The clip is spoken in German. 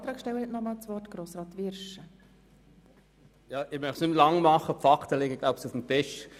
Ich möchte nicht mehr verlängern, denn die Fakten liegen auf dem Tisch.